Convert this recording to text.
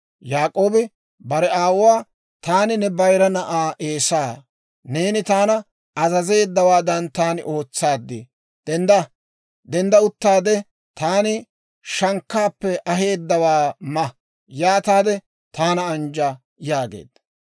Yaak'oobi bare aawuwaa, «Taani ne bayira na'aa Eesaa; neeni taana azazeeddawaadan taani ootsaad; dendda; dendda uttaade, taani shankkaappe aheedawaa ma; yaataade taana anjja» yaageedda.